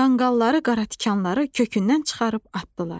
Qanqalları, qaratikanları kökündən çıxarıb atdılar.